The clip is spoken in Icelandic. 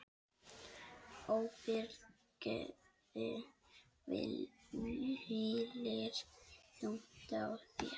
Ábyrgð hvílir þung á þér.